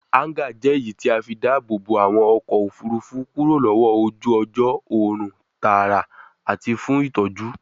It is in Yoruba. Háńgà jẹ́ èyí tí a fí ń dáàbòbo àwọn ọkọ̀ òfurufú kúrò lọ́wọ́ ojú ọjọ́, òòrùn tààrà àti fún ìtọ́jú.